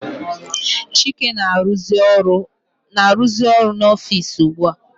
Chike na -aruzi ọrụ n'ofici ugbua.